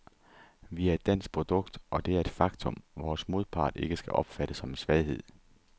Vi er et dansk produkt, og det er et faktum, vores modpart ikke skal opfatte som en svaghed.